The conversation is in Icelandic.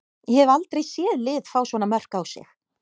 Ég hef aldrei séð lið fá svona mörk á sig.